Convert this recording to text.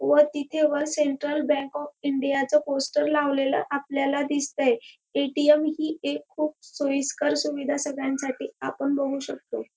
व तिथे वर सेंट्रल बँक ऑफ इंडिया च पोस्टर लावलेल आपल्याला दिसतंय ए.टी.एम. ही एक खूप सोईस्कर सुविधा सगळ्यांसाठी आपण बघू शकतो.